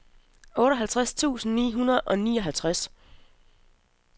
otteoghalvtreds tusind ni hundrede og nioghalvtreds